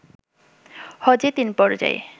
হজে তিন পর্যায়ে